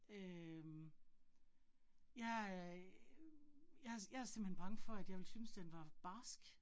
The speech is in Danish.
Øh jeg er jeg jeg er simpelthen bange for, at jeg ville synes den var barsk